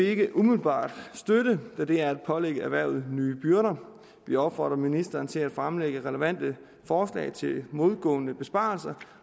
ikke umiddelbart støtte da det er at pålægge erhvervet nye byrder vi opfordrer ministeren til at fremlægge relevante forslag til modgående besparelser